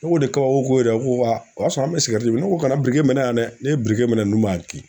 Ne ko ne kabako ye dɛ a ko o y'a sɔrɔ an bɛ sigɛriti min ko kana mɛnɛ yan dɛ ne ye mɛnɛ ninnu b'an kin